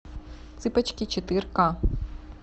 цыпочки четыре ка